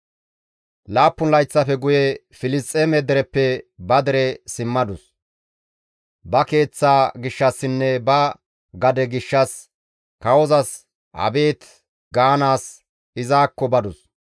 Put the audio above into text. Laappun layththafe guye Filisxeeme dereppe ba dere simmadus; ba keeththaa gishshassinne ba gade gishshas kawozas abeet gaanaas izakko badus.